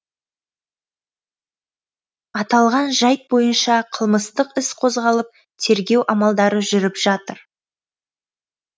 аталған жайт бойынша қылмыстық іс қозғалып тергеу амалдары жүріп жатыр